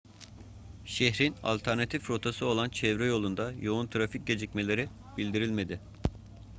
şehrin alternatif rotası olan çevre yolunda yoğun trafik gecikmeleri bildirilmedi